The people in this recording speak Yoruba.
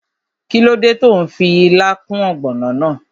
Kíló dé tó n fi ilá kún ògbònò náà?